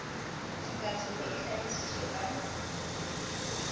tshekatsheko e hlahi sitswe ka